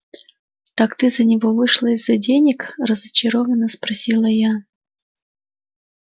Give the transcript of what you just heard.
так ты за него вышла из-за денег разочаровано спросила я